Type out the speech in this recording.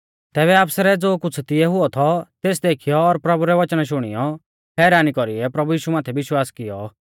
तैबै आफसरै ज़ो कुछ़ तिऐ हुऔ थौ तेस देखीयौ और प्रभु रै वचना शुणियौ हैरानी कौरीऐ प्रभु यीशु माथै विश्वास कियौ